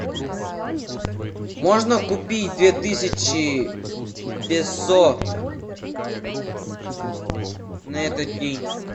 можно купить две тысячи песо на этот день